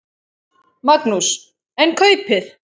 Magnús: En kaupið?